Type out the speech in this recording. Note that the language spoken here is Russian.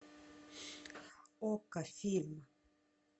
окко фильм